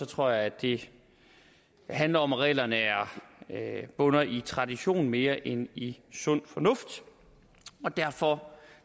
tror jeg det handler om at reglerne bunder i tradition mere end i sund fornuft derfor